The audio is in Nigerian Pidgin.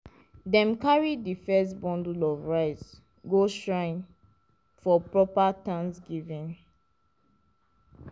dem carry di first bundle of rice go shrine for proper thanksgiving.